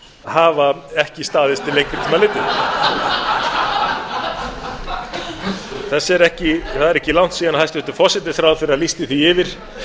hann hafa ekki staðist til lengri tíma litið það er ekki langt síðan hæstvirtur forsætisráðherra lýsti því yfir